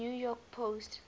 new york post